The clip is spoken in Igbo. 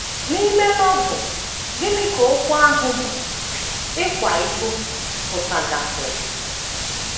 N’ime Novel, gịnị ka okwu ahụ bụ́ “ ịkwa iko ” pụtagasịrị?